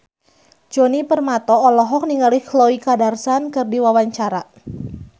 Djoni Permato olohok ningali Khloe Kardashian keur diwawancara